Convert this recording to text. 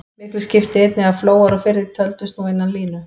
Miklu skipti einnig að flóar og firðir töldust nú innan línu.